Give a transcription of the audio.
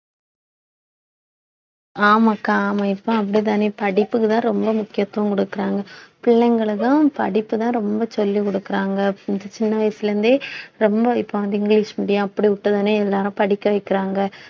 ஆமாக்கா ஆமா இப்ப அப்படித்தானே படிப்புக்குத்தான் ரொம்ப முக்கியத்துவம் கொடுக்கிறாங்க பிள்ளைங்களுக்கும் படிப்புதான் ரொம்ப சொல்லிக் கொடுக்குறாங்க சின்ன வயசுல இருந்தே ரொம்ப இப்ப வந்து இங்கிலிஷ் medium அப்படி விட்டதுன்னு எல்லாரும் படிக்க வைக்கிறாங்க